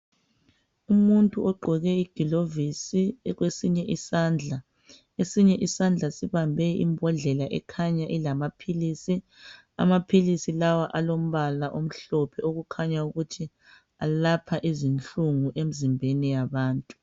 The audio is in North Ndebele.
Umuntu ogqoke igilovisi kwesinye isandla .Esinye isandla sibambe imbodlela ekhanya ilamaphilisi .Amaphilisi lawa alombala omhlophe okukhanya ukuthi alapha izinhlungu emzimbeni yabantu.